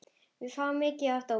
Við fáum mikið af dómum.